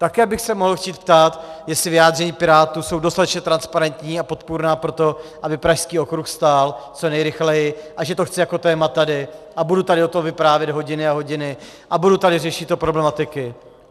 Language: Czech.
Také bych se mohl chtít ptát, jestli vyjádření pirátů jsou dostatečně transparentní a podpůrná pro to, aby Pražský okruh stál co nejrychleji, a že to chci jako téma tady, a budu tady o tom vyprávět hodiny a hodiny a budu tady řešit ty problematiky.